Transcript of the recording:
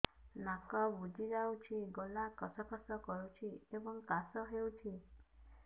ନାକ ବୁଜି ଯାଉଛି ଗଳା ଖସ ଖସ କରୁଛି ଏବଂ କାଶ ହେଉଛି